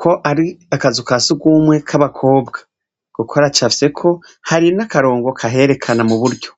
ko ari akazu ka sugumwe k'abakobwa kuko aracfyeko hari n'akarongo kaherekana mu buryo.